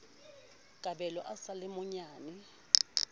kabelo a sa le monyenyane